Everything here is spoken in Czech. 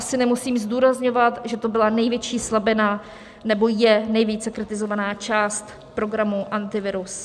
Asi nemusím zdůrazňovat, že to byla největší slabina anebo je nejvíce kritizovaná část programu Antivirus.